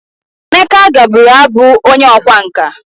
Emeka gaburu Abu onye okwa nka.